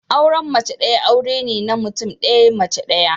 Auren mace daya aure ne na mutum daya, mace daya